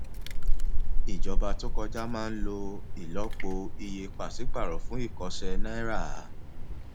ìjọba tó kọjá máa lọ ìlọpo iye pàṣípàrọ fún ìkọsẹ náírà